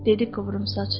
Dedi qıvrımsaç.